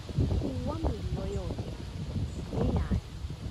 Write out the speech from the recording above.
Kua mĩrigo yothe nĩ yanyu